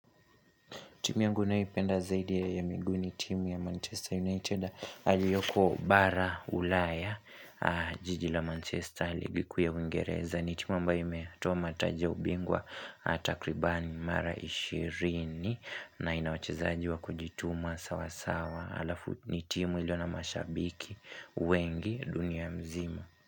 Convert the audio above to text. Timu yangu ninayoipenda zaidi huwa ya miguu ni timu ya Manchester United aliyoko bara ulaya jiji la Manchester ligi kuu ya uingereza. Ni timu ambayo imetoa mataji ubingwa hatakribani mara ishirini na inawachezaji wa kujituma sawa sawa alafu ni timu iliyo na mashabiki wengi dunia nzima.